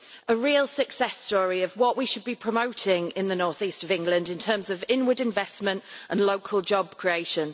A real success story of what we should be promoting in the North East of England in terms of inward investment and local job creation.